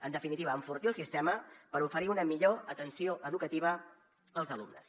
en definitiva enfortir el sistema per oferir una millor atenció educativa als alumnes